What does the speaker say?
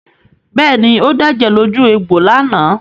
Bẹ́ẹ̀ ni, ó dẹ̀jẹ̀ lójú egbò lánàá.